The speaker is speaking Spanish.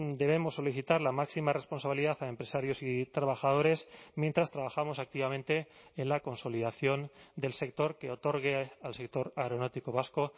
debemos solicitar la máxima responsabilidad a empresarios y trabajadores mientras trabajamos activamente en la consolidación del sector que otorgue al sector aeronáutico vasco